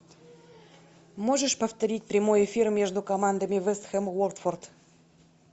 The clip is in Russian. можешь повторить прямой эфир между командами вест хэм уотфорд